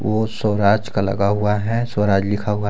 वो स्वराज का लगा हुआ है स्वराज लिखा हुआ है।